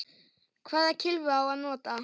Hvaða kylfu á að nota?